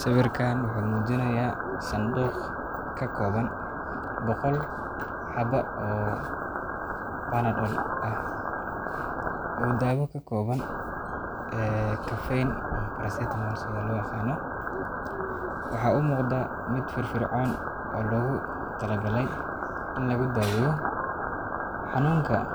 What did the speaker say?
Sawirkaan wuxuu muujinayaa sanduuq ka kooban 100 xabbo ooPanadol ah, taasoo loo yaqaano paracetamol ama mid leh caffeine. Daawadani waxay u muuqataa mid si fiican loo soo agaasimay, waxaana loo isticmaalaa in lagu daaweeyo xanuunada fudud